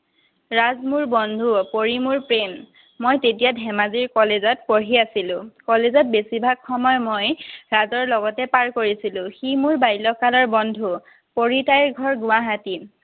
ৰাজ মোৰ বন্ধু, পৰী মোৰ প্ৰেম। মই তেতিয়া ধেমাজিৰ college ত পঢ়ি আছিলো। College ত বেছিভাগ সময় মই ৰাজৰ লগতে পাৰ কৰিছিলো। সি মোৰ বাল্যকালৰ বন্ধু। পৰী, তাইৰ ঘৰ গুৱাহাটীত।